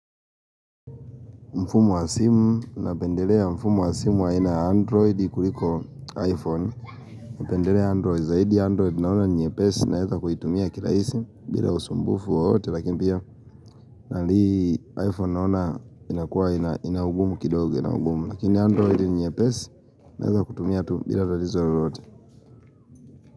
Mfumo wa simu, napendelea mfumo wa simu wa aina ya android kuliko iphone, napendelea android zaidi android naona ni nyepesi, naweza kuitumia kirahisi, bila usumbufu wowote, lakini pia, nalii iphone naona, inakua, ina ugumu kidogo, ina ugumu, lakini android ni nyepesi, naweza kutumia tu, bila talizo lolote.